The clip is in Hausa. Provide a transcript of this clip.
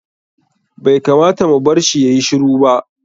Bai kamata mu barshi yayi shiru ba.